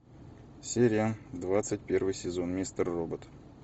серия двадцать первый сезон мистер робот